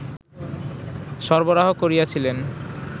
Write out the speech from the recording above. সরবরাহ করিয়াছিলেন